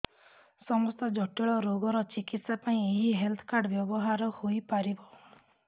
ସମସ୍ତ ଜଟିଳ ରୋଗର ଚିକିତ୍ସା ପାଇଁ ଏହି ହେଲ୍ଥ କାର୍ଡ ବ୍ୟବହାର ହୋଇପାରିବ